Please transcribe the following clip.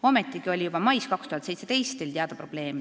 Ometigi oli juba mais 2017 Teil teada probleem.